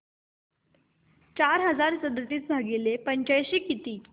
चार हजार सदतीस भागिले पंच्याऐंशी किती